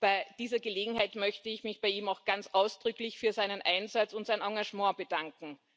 Bei dieser Gelegenheit möchte ich mich bei ihm auch ganz ausdrücklich für seinen Einsatz und sein Engagement bedanken.